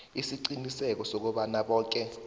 isiqiniseko sokobana boke